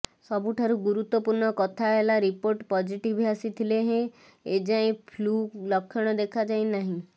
ସବୁଠାରୁ ଗୁରୁତ୍ୱପୂର୍ଣ୍ଣ କଥା ହେଲା ରିପୋର୍ଟ ପିଜିଟିଭ ଆସିଥିଲେ ହେଁ ଏଯାଏ ଫ୍ଲୁ ଲକ୍ଷଣ ଦେଖାଯାଇନାହିଁ